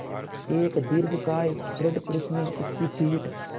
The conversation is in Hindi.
एक दीर्घकाय दृढ़ पुरूष ने उसकी पीठ